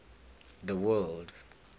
the word